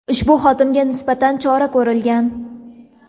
ushbu xodimga nisbatan chora ko‘rilgan.